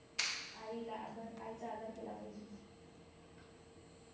आईला आदर आईचा आदर केला पाहिजे